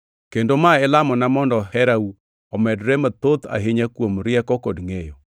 Kendo ma e lamona mondo herau omedre mathoth ahinya kuom rieko kod ngʼeyo,